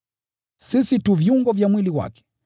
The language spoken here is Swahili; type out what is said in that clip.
Sisi tu viungo vya mwili wake.